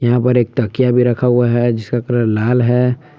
ऊपर एक तकिया भी रखा हुआ है जिसका कलर लाल है ।